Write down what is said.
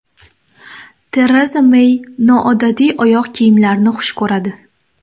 Tereza Mey noodatiy oyoq kiyimlarni xush ko‘radi.